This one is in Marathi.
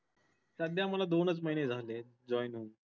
सध्या मला दोनच महिने झालेत join होऊन.